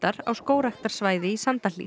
á skógræktarsvæði í